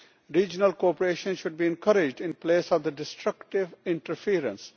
Regional cooperation should be encouraged in place of destructive interference.